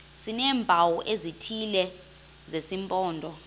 sineempawu ezithile zesimpondo